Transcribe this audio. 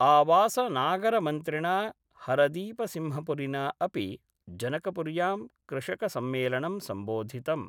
आवासनागरमन्त्रिणा हरदीपसिंहपुरिना अपि जनकपुर्यां कृषकसम्मेलनं सम्बोधितम्।